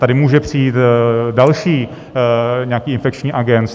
Tady může přijít další nějaký infekční agens.